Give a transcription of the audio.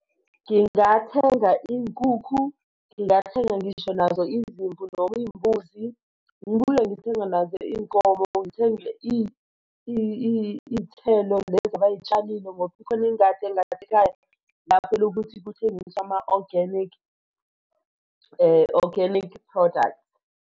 Ngingathenga iy'nkukhu ngingathenga ngisho nazo izimvu noma izimbuzi ngibuye ngithenge nazo iy'nkomo ngithenge iy'thelo lezi bay'tshalile ngoba ikhona ingadi engasekhaya lapho ukuthi kuthengiswe ama-organic organic product.